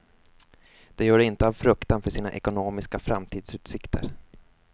De gör det inte av fruktan för sina ekonomiska framtidsutsikter.